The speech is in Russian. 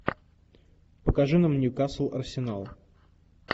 покажи нам ньюкасл арсенал